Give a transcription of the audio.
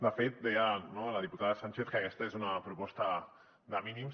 de fet deia la diputada sànchez que aquesta és una proposta de mínims